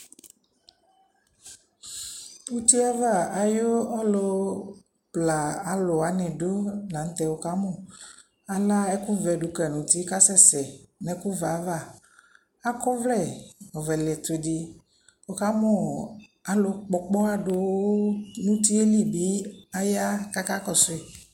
Utiava ayu alu ɔbla aluwani du la nu tɛ ukamu ala ɛku vɛ du kayi nu uti ku asɛsɛ nu ɛkuvɛ ayava akɔ ɔvlɛ ɔvlɛ liɛtu di ukamu alu Kpɔ ɔkpoha du nu uti libi aya ku akakɔsu